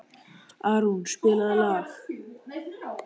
Árún, spilaðu lag.